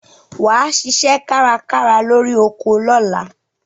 Wà á ṣiṣẹ́ kárakára lórí oko lọ́la.